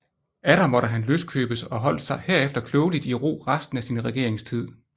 Atter måtte han løskøbes og holdt sig herefter klogelig i ro resten af sin regeringstid